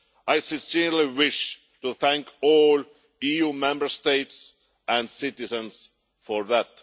I sincerely wish to thank all the EU Member States and citizens for that.